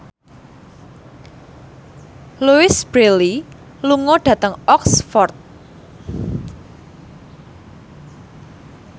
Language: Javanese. Louise Brealey lunga dhateng Oxford